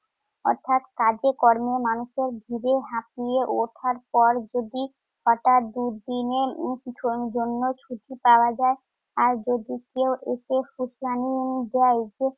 অর্থাৎ কাজে কর্মে মানুষের জিবে হাঁপিয়ে ওঠার পর যদি পাকা দুদিনের উম জন~ জন্য ছুটি পাওয়া যায়, আর যদি কেউ এসে নিয়েও যায়